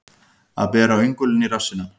Að bera öngulinn í rassinum